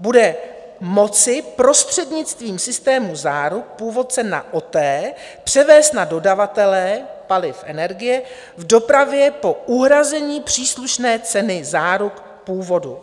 bude moci prostřednictvím systému záruk původce na OTE převést na dodavatelé paliv energie v dopravě po uhrazení příslušné ceny záruk původu.